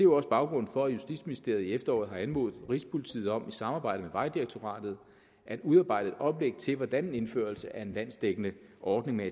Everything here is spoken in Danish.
også baggrunden for at justitsministeriet i efteråret har anmodet rigspolitiet om i samarbejde med vejdirektoratet at udarbejde et oplæg til hvordan en indførelse af en landsdækkende ordning med